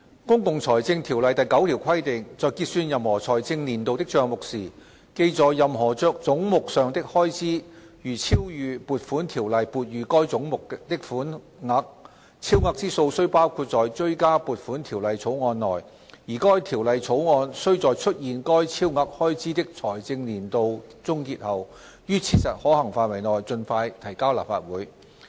《公共財政條例》第9條規定："在結算任何財政年度的帳目時，記在任何總目上的開支如超逾撥款條例撥予該總目的款額，超額之數須包括在追加撥款條例草案內，而該條例草案須在出現該超額開支的財政年度終結後，於切實可行範圍內盡快提交立法會。